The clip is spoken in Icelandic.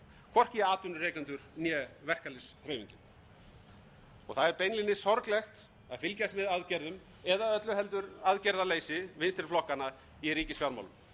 hvorki atvinnurekendur né verkalýðshreyfingin það er beinlínis sorglegt að fylgjast með aðgerðum eða öllu heldur aðgerðaleysi vinstri flokkanna í ríkisfjármálum þar